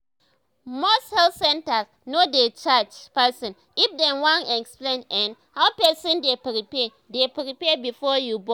most health centers no dey charge person if dem wan explain[um]how person dey prepare dey prepare before you born